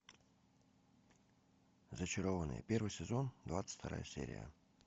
зачарованные первый сезон двадцать вторая серия